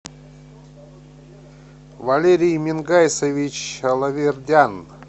валерий мингайсович алавердян